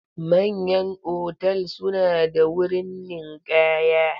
Manyan otal suna da wurin ninkaya.